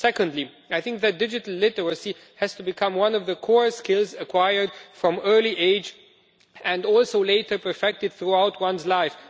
Secondly, I think that digital literacy has to become one of the core skills acquired from an early age and also later perfected throughout one's life.